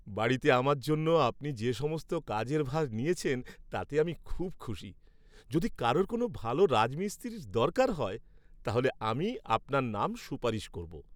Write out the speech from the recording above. বাড়িতে আমার জন্য আপনি যে সমস্ত কাজের ভার নিয়েছেন, তাতে আমি খুব খুশি। যদি কারোর কোনও ভাল রাজমিস্ত্রির দরকার হয়, তাহলে আমি আপনার নাম সুপারিশ করব।